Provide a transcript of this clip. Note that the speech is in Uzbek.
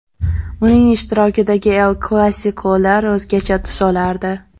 Uning ishtirokidagi ‘El-Klassiko‘lar o‘zgacha tus olardi”.